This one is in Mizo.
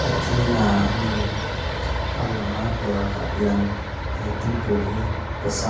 Athena a mi a lang a thlalak ah hian he temple hi posai--